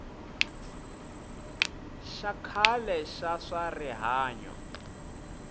xa khale xa swa rihanyo